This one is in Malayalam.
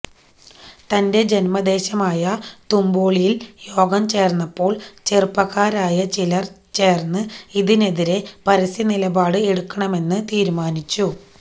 തന്റെ ജന്മദേശമായ തുമ്പോളിയില് യോഗം ചേര്ന്നപ്പോള് ചെറുപ്പക്കാരായ ചിലര് ചേര്ന്ന് ഇതിനെതിരെ പരസ്യനിലപാട് എടുക്കണമെന്ന് തീരുമാനിച്ചു